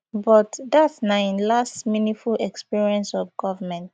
but dat na im last meaningful experience of govment